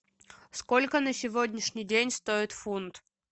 сколько на сегодняшний день стоит фунт